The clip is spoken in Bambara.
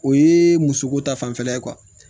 O ye muso ko ta fanfɛla ye